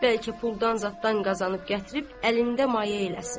Bəlkə puldan zaddan qazanıb gətirib əlində mayə eləsin.